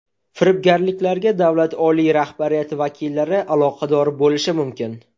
Firibgarliklarga davlat oliy rahbariyati vakillari aloqador bo‘lishi mumkin.